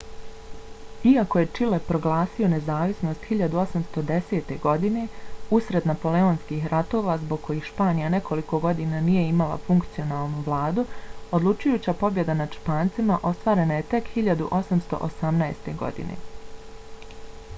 iako je čile proglasio nezavisnost 1810. godine usred napoleonskih ratova zbog kojih španija nekoliko godina nije imala funkcionalnu vladu odlučujuća pobjeda nad špancima ostvarena je tek 1818. godine